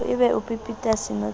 e ba o pepeta senotlolo